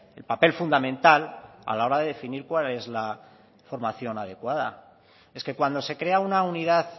el papel fundamental a la hora de definir cuál es la formación adecuada es que cuando se crea una unidad